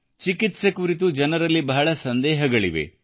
ಚಿಕಿತ್ಸೆ ಕುರಿತು ಜನರಲ್ಲಿ ಬಹಳ ಸಂದೇಹಗಳಿವೆ